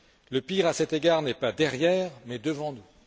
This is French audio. Le pire à cet égard n'est pas derrière, mais devant nous.